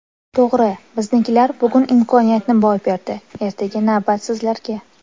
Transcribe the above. To‘g‘ri, biznikilar bugun imkoniyatni boy berdi, ertaga navbat sizlarga!